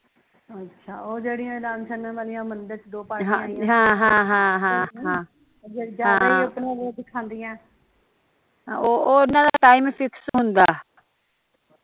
ਓਹਨਾਂ ਦਾ team fees ਹੁੰਦਾ